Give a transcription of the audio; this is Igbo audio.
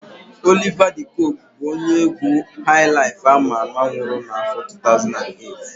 Oliva de Koku bụ onye égwú haịlaịf ama ama nwụrụ n'áfọ̀ 2008.